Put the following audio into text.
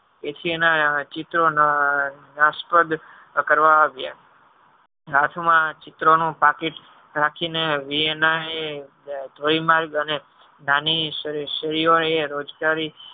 એકેય ના ચિત્રો નાશપ્રદ કરવામાં આવિયા હાથ માં ચિત્રો નું પાકીટ રાખી ને નાની સિયો એ રોજગારી